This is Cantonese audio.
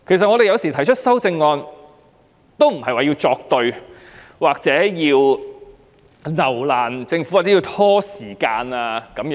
雖然議員提出修正案，但不等於他們要跟政府作對、有意留難或拖延時間。